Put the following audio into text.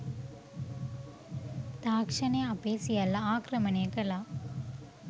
තාක්‍ෂණය අපේ සියල්ල ආක්‍රමණය කළා.